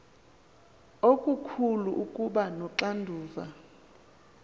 okukhulu ukuba noxanduva